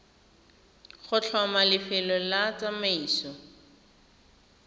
go tlhoma lefelo la tsamaiso